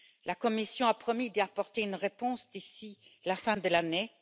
La Commission a promis d'y apporter une réponse d'ici la fin de l'année.